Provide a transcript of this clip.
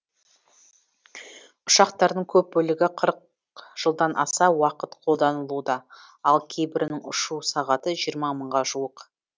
ұшақтардың көп бөлігі қырық жылдан аса уақыт қолданылуда ал кейбірінің ұшу сағаты жиырма мыңға жуық